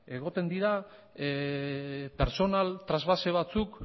egoten dira pertsonal trasbase batzuk